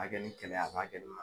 a kɛ ni kɛlɛ ye a b'a kɛ